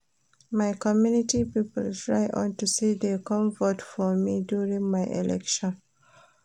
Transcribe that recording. My community people try unto say dey come vote for me during my election